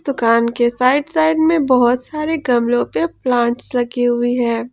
दुकान के right side में बहुत सारे गमले के प्लांट लगे हुए है।